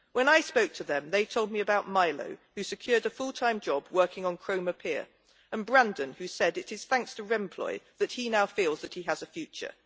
When I spoke to them they told me about Milo, who secured a full time job working on Cromer Pier, and Brandon, who said it is thanks to Remploy that he now feels that he has a future.